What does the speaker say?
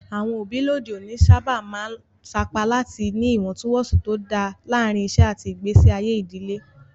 Àwọn òbí lóde òní sábà máa ń sapá láti ní ìwọ̀ntúnwọ̀nsì tó dáa láàárín iṣẹ́ àti ìgbésí ayé ìdílé.